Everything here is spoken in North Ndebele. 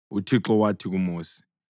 UThixo wathi kuMosi: